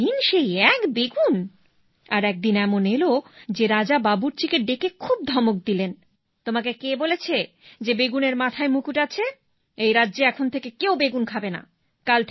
প্রতিদিন সেই এক বেগুন আর একদিন এমন এল যে রাজা বাবুর্চিকে ডেকে খুব ধমক দিলেন তোমাকে কে বলেছে যে বেগুনের মাথায় মুকুট আছে এই রাজ্যে এখন থেকে কেউ বেগুন খাবেনা